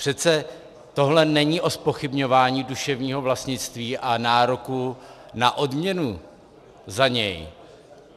Přece tohle není o zpochybňování duševního vlastnictví a nároku na odměnu za něj.